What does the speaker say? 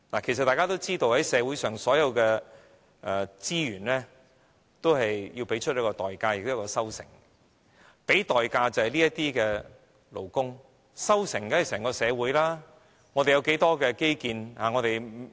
其實大家也知道，就社會上所有的資源，均要付出代價，然後才有收成，付出代價的人便是這些勞工，收成者便是整個社會，我們有多少基建？